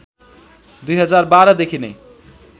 २०१२ देखि नै